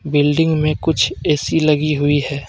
Building में कुछ A C लगी हुई है.